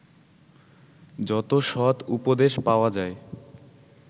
যত সৎ উপদেশ পাওয়া যায়